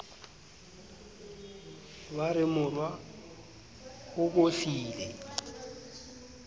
ba re morwa o bohlile